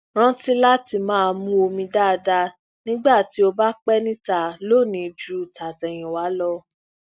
rántí láti máa mu omi dáadáa nígbà tí o bá pe níta lónìí ju tatẹyinwa lọ